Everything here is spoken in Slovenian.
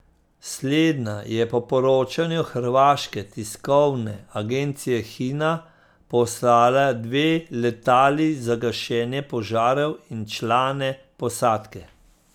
Slednja je po poročanju hrvaške tiskovne agencije Hina poslala dve letali za gašenje požarov in člane posadke.